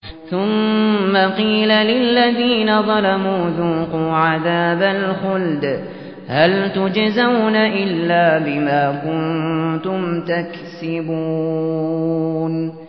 ثُمَّ قِيلَ لِلَّذِينَ ظَلَمُوا ذُوقُوا عَذَابَ الْخُلْدِ هَلْ تُجْزَوْنَ إِلَّا بِمَا كُنتُمْ تَكْسِبُونَ